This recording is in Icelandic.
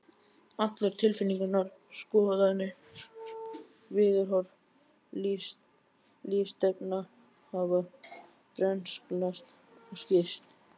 Allar tilfinningar, skoðanir, viðhorf, lífsstefna hafa brenglast og sýkst.